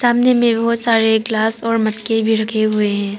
सामने में बहुत सारे ग्लास और मग्गे भी रखे हुए हैं।